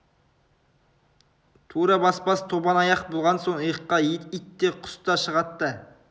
тура баспас тобан аяқ болған соң иыққа ит те құс та шығад та